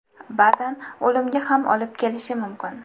Ba’zan o‘limga ham olib kelishi mumkin.